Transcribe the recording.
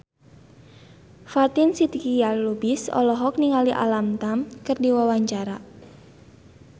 Fatin Shidqia Lubis olohok ningali Alam Tam keur diwawancara